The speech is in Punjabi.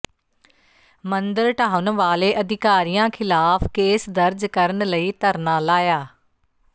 ਮੰਦਰ ਢਾਹੁਣ ਵਾਲੇ ਅਧਿਕਾਰੀਆਂ ਖ਼ਿਲਾਫ਼ ਕੇਸ ਦਰਜ ਕਰਨ ਲਈ ਧਰਨਾ ਲਾਇਆ